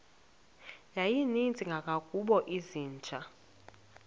yayininzi kangangokuba izinja